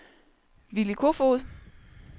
Willy Koefoed